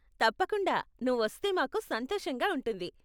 తప్పకుండా, నువ్వు వస్తే మాకు సంతోషంగా ఉంటుంది.